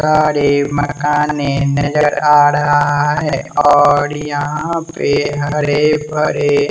गाड़ी मकाने नजर आ रहा है और यहां पे हरे भरे--